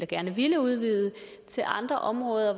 gerne ville udvide til andre områder